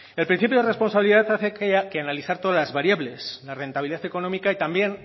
el principio de responsabilidad hace que analizar todas las variables la rentabilidad económica y también